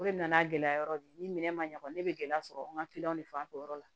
O de nana gɛlɛya yɔrɔ de ye ni minɛn ma ɲa kɔni ne bɛ gɛlɛya sɔrɔ n ka kiliyanw de fanfɛ o yɔrɔ la